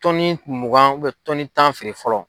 mugan tan feere fɔlɔ.